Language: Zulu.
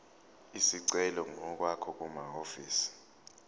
isicelo ngokwakho kumahhovisi